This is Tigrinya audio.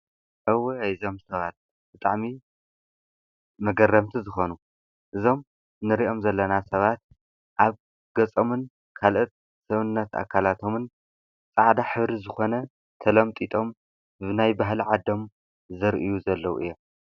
እዋይ እዞም ሰባት ብጣዕሚ መገረምቲ ዝኮኑ እዞም ንሪኦም ዘለና ሰባት አብ ገፆምን አብ ካልኦት ሰዉነት አካላቶምን ፃዕዳ ሕብሪ ዝኮነ ተለምጢጦም ናይ ባህሊ ዓዶም ዘርእዪ ዘለዉ እዮም ።